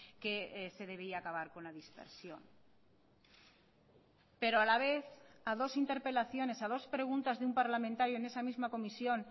que se debía acabar con la dispersión pero a la vez a dos interpelaciones a dos preguntas de un parlamentario en esa misma comisión